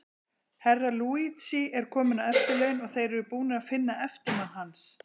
Herra Luigi er kominn á eftirlaun, og þeir eru búnir að finna eftirmann hans.